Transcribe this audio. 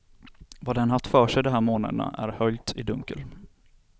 Vad den haft för sig de här månaderna är höljt i dunkel.